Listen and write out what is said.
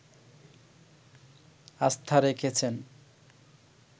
আস্থা রেখেছেন